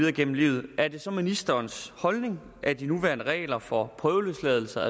igennem livet er det så ministerens holdning at de nuværende regler for prøveløsladelse og